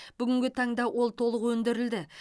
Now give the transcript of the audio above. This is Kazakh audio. бүгінгі таңда ол толық өндірілді